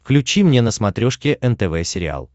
включи мне на смотрешке нтв сериал